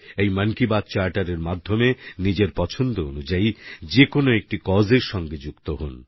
এই মন কি বাত charterএর মাধ্যমে নিজের পছন্দ অনুযায়ী যেকোন একটি কাউস এর সঙ্গে যুক্ত হোন